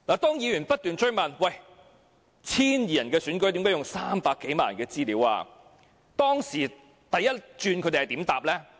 當議員不斷追問 ，1,200 人的選舉何故要用300多萬人的資料，初時他們如何回答呢？